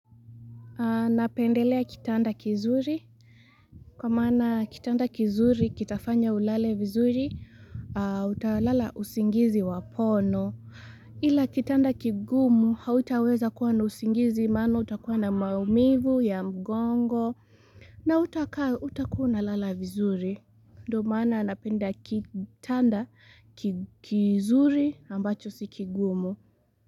Napendelea kitanda kizuri kwa maana kitanda kizuri kitafanya ulale vizuri utalala usingizi wa pono ila kitanda kigumu hautaweza kuwa na usingizi maana utakuwa na maumivu ya mgongo na utakua unalala vizuri Ndio maana napenda kitanda kizuri ambacho si kigumu.